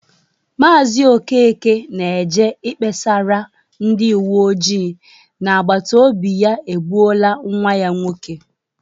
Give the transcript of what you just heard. Maazị Okeke na-eje ikpesara ndị uwe ojii na agbatobi ya egbuola nwa ya nwoke.